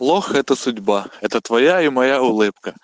лох это судьба это твоя и моя